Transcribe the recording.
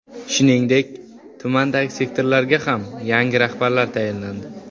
Shuningdek, tumandagi sektorlarga ham yangi rahbarlar tayinlandi.